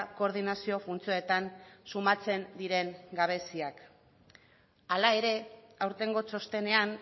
koordinazio funtzioetan sumatzen diren gabeziak hala ere aurtengo txostenean